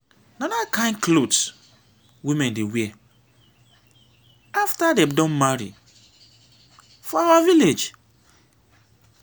na that kyn cloth women dey wear after dem don marry for our village